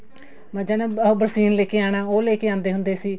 ਮੱਝਾ ਨੂੰ ਬਰਸੀਨ ਲੈਕੇ ਆਉਣਾ ਉਹ ਲੇ ਕੇ ਆਉਂਦੇ ਹੁੰਦੇ ਸੀ